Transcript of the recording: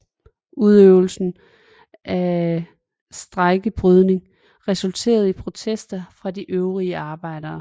Udøvelsen af strejkebrydning resulterede i protester fra de øvrige arbejdere